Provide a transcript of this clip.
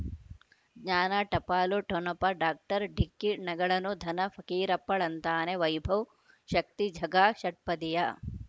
ಜ್ಞಾನ ಟಪಾಲು ಠೊಣಪ ಡಾಕ್ಟರ್ ಢಿಕ್ಕಿ ಣಗಳನು ಧನ ಫಕೀರಪ್ಪ ಳಂತಾನೆ ವೈಭವ್ ಶಕ್ತಿ ಝಗಾ ಷಟ್ಪದಿಯ